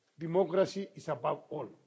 Democracy is about all.